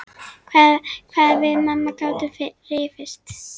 Hvað við mamma gátum rifist.